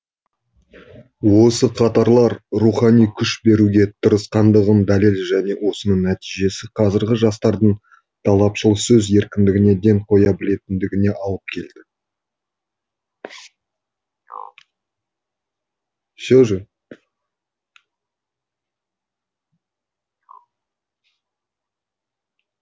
осы қатарлар рухани күш беруге тырысқандығының дәлелі және осының нәтижесі қазіргі жастардың талапшыл сөз еркіндіне ден қоя білетіндігіне алып келді все же